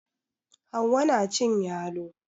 Hauwa na cin yalo